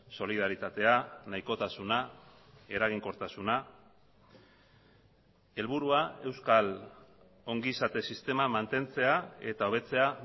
solidaritatea nahikotasuna eraginkortasuna helburua euskal ongizate sistema mantentzea eta hobetzea